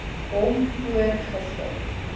hom voor gister